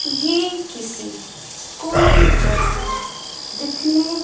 ये किसी स्कूल जैसे दिखने--